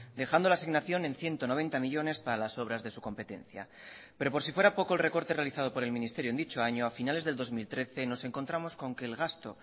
dejando la asignación en ciento noventa millónes para las obras de su competencia pero por si fuera poco el recorte realizado por el ministerio en dicho año a finales del dos mil trece nos encontramos con que el gasto